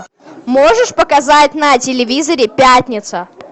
можешь показать на телевизоре пятница